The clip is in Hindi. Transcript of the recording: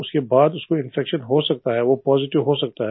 उसके बाद उसमें इन्फेक्शन हो सकता है वो पॉजिटिव हो सकता है